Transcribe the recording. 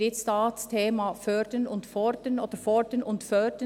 Wir haben hier das Thema «Fördern und Fordern» oder «Fordern und Fördern».